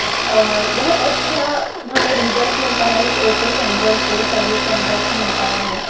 और बहुत अच्छा हमें रिजल्ट मिलता है इस ओप्पो सेेंटर से सर्विस सेंटर से मिलता है हमें।